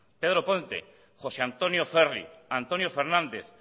pedro ponte josé antonio ferri antonio fernández